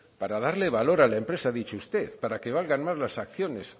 para darle valor a la empresa ha dicho usted para que valgan más las acciones